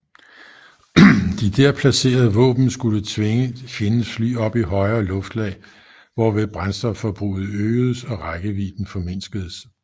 De der placerede våben skulle tvinge fjendens fly op i højere luftlag hvorved brændstofforbruget øgedes og rækkevidden formindskedes